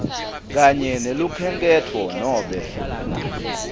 kanye nelukhenkhetfo nobe